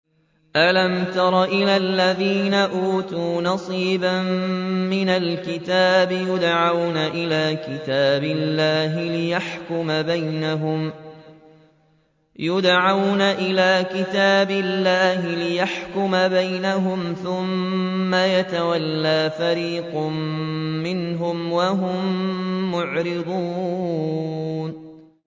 أَلَمْ تَرَ إِلَى الَّذِينَ أُوتُوا نَصِيبًا مِّنَ الْكِتَابِ يُدْعَوْنَ إِلَىٰ كِتَابِ اللَّهِ لِيَحْكُمَ بَيْنَهُمْ ثُمَّ يَتَوَلَّىٰ فَرِيقٌ مِّنْهُمْ وَهُم مُّعْرِضُونَ